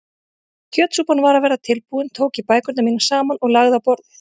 Þegar kjötsúpan var að verða tilbúin tók ég bækurnar mínar saman og lagði á borðið.